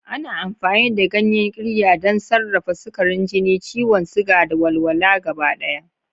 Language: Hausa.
Ana amfani da ganyen Qirya don sarrafa sukarin jini, ciwon suga, da walwala gabaɗaya.